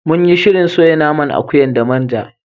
Munyi shirin soya naman akuyar da manja.